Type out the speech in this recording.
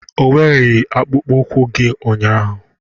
O wereghị akpụkpọ ụkwụ gị ụnyaahụ.